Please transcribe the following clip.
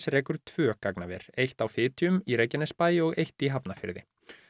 rekur tvö gagnaver eitt á Fitjum í Reykjanesbæ og eitt í Hafnarfirði